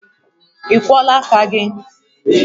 Ị kwọọla aka gị?